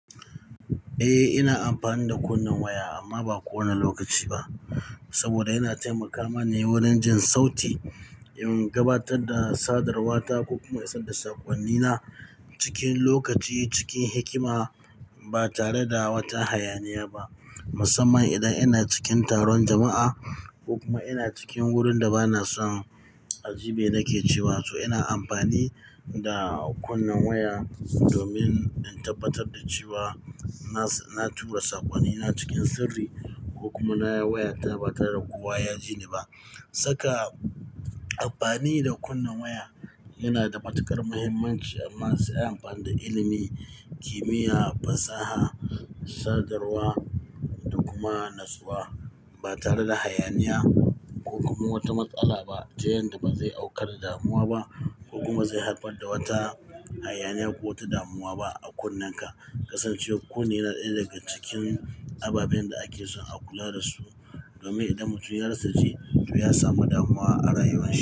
Eh, ina amfani da kunnen waya amma ba kowane lokaci ba. Saboda yana taimaka mani wurin jin sauti, in gabatar da sadarwa ta, ko kuma isar da sakonnina cikin lokaci, cikin hikima ba tare da wata hayaniya ba. Musamman idan ina cikin taron jama'a ko kuma ina cikin wurin da bana son aji me na ke cewa. So ina amfani da kunnen waya domin in tabbatar da cewa na tura sakonnina cikin sirri ko kuma nayi wayata ba tare da kowa ya ji ni ba. Saka amfani da kunnen waya yana da matuƙar muhimmanci amma sai anyi amfani da ilimi, kimiyya, fasaha, sadarwa da kuma natsuwa ba tare da hayaniya ko kuma wata matsala ba. Ta yanda ba zai aukar da damuwa ba ko kuma zai haifar da wata hayaniya ko wata damuwa ba a kunnenka. Kasancewar kunne yana ɗaya daga cikin ababen da ake so a kula da su domin idan mutum ya rasa ji, to ya samu damuwa a rayuwar shi.